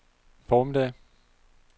formiddag